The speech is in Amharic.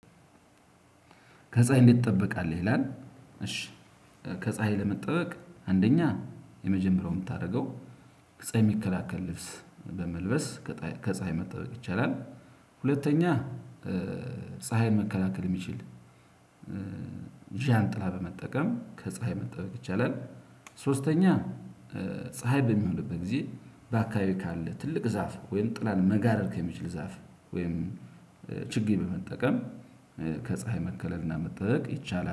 ከፀሀይ እንዴት ትጠብቃለህ? ይላል እሺ ከፀሀይ ለመጠበቅ አንደኛ የመጀመሪያውን የምታደርገው። ፀሀይ የሚከላከል ልብስ በመልበስ ከፀሀይ መጠበቅ ይቻላል። ሁለተኛ ፀሀይን መከላከል የሚችል ዣንጥላ በመጠቀም ከፀሀይ መጠበቅ ይቻላል። ሶስተኛ ፀሀይ በሚሆንበት ጊዜ በአካባቢው ካለ ትልቅ ዛፍ ወይም ጥላን መጋረድ ከሚችል ዛፍ ወይም ችግኝ በመጠቀም። ከፀሀይ መከለልና መጠበቅ ይቻላል